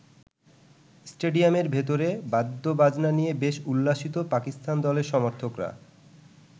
স্টেডিয়ামের ভেতরে বাদ্যবাজনা নিয়ে বেশ উল্লসিত পাকিস্তান দলের সমর্থকরা।